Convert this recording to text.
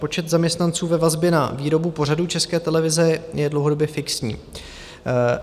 Počet zaměstnanců ve vazbě na výrobu pořadů České televize je dlouhodobě fixní.